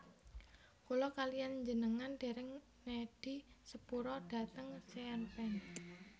Kula kaliyan njenengan dereng nedhi sepura dhateng Sean Penn